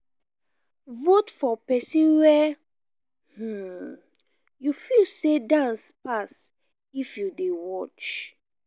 vote for persin wey um you feel say dance pass if you de watch